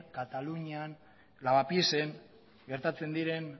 katalunian lavapiesen gertatzen diren